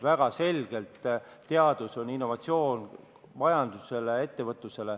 Väga selgelt tähendab teadus innovatsiooni majanduses ja ettevõtluses.